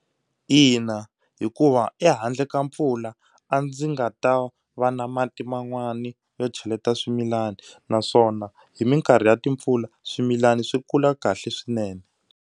Ina hikuva ehandle ka mpfula a ndzi nga ta va na mati man'wani yo cheleta swimilana naswona hi mikarhi ya timpfula swimilana swi kula kahle swinene.